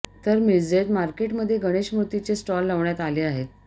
तर मिरजेत मार्केटमध्ये गणेश मूर्तींचे स्टॉल लावण्यात आले आहेत